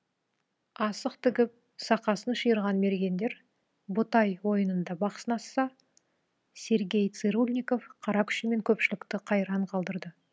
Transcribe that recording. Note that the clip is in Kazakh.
асық тігіп сақасын шиырған мергендер ботай ойынында бақ сынасса сергей цырульников қара күшімен көпшілікті қайран қалдырды